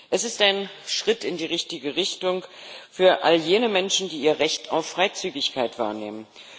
Es ist ein Schritt in die richtige Richtung für all jene Menschen, die ihr Recht auf Freizügigkeit wahrnehmen.